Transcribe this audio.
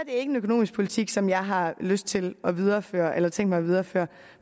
ikke en økonomisk politik som jeg har lyst til at videreføre eller tænkt mig at videreføre